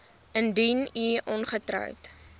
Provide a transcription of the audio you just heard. indien u ongetroud